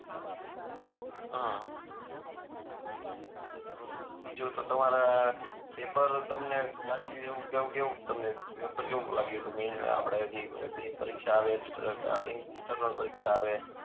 અઅ અઅ બીજું તો તમારા પેપર તમને ત્યાંથી એવું કેવું કે કેવું તમને મેઈન જે પરીક્ષા આવે ઇન્ટરનલ પરીક્ષા આવે